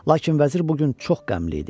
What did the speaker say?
Lakin vəzir bu gün çox qəmli idi.